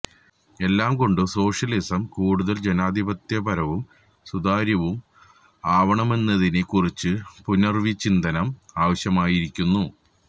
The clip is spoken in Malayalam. എല്ലാം കൊണ്ടും സോഷ്യലിസം കൂടുത്തൽ ജനാധിപത്യപരവും സുതാര്യവും ആവണമെന്നതിനെ കുറിച്ച് പുനർവിചിന്തനം ആവശ്യമായിരിക്കുന്നു